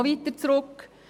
Noch weiter zurück: